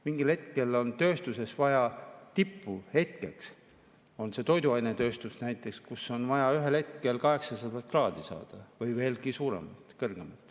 Mingil hetkel on tööstuses vaja tipuhetkeks, näiteks toiduainetööstuses, saada 800 kraadi või veel rohkem.